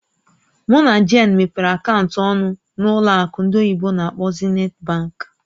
Mụ na Jane mepere akaụntụ ọnụ n'ụlọ akụ ndị oyibo n'akpọ "Zenith Bank".